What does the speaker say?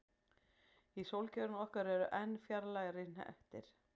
Í sólkerfinu okkar eru enn fjarlægari hnettir.